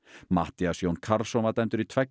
Matthías Jón Karlsson var dæmdur í tveggja